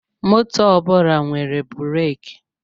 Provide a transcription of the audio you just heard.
Moto ọbụla nwere bụraki